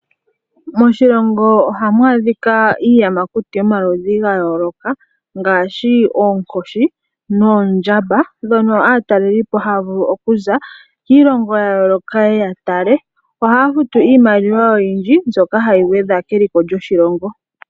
Moshilongo ohamu adhika iiyamakuti yomaludhi ga yooloka ngaashi oonkoshi noondjamba ndhono aataleli Po haa vulu okuza kiilongo ya yooloka opo yeye ya tale ohaya futu iimaliwa wo oyindji.